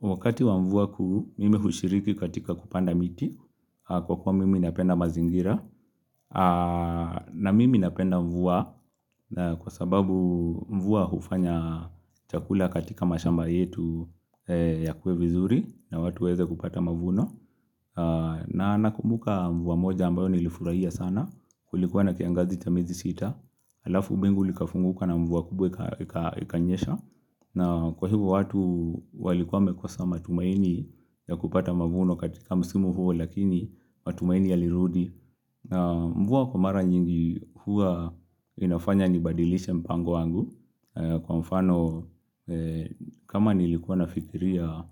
Wakati wa mvua kuu, mimi hushiriki katika kupanda miti kwa kwa mimi napenda mazingira na mimi napenda mvua kwa sababu mvua hufanya chakula katika mashamba yetu ya kue vizuri na watu waeze kupata mavuno na nakumbuka mvua moja ambayo nilifurahia sana kulikuwa na kiangazi cha miezi sita alafu bingu likafunguka na mvua kubwa ikanyesha na kwa hivo watu walikuwa wamekosa matumaini ya kupata mavuno katika msimu huo lakini matumaini ya lirudi Mvua kwa mara nyingi huwa inafanya ni badilishe mpango wangu Kwa mfano kama nilikuwa nafikiria